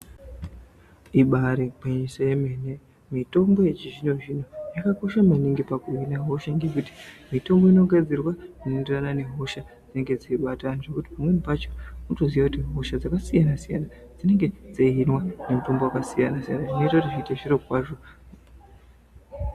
Ibaari gwinyiso yemene mitombo yechizvinozvino yakakosha maningi pakuhina hosha ngekuti mitombo inongodzirwa nendaa yehosha dzinenge dzeibata anthu nekuti pamweni pacho unotoziya kuti hosha dzakasiyana siyana dzinenge dzeihinwa nemutombo wakasiyana siyana zvinoita kuti zviite zviro kwazvo.